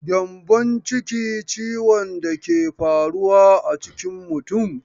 Gyambonciki ciwon da ke faruwa a cikin mutum.